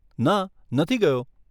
ના, નથી ગયો.